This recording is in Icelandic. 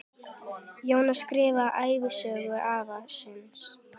Jón skráði ævisögu afa síns.